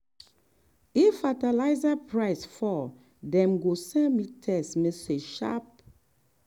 if fertiliser price fall dem go send me text message sharp.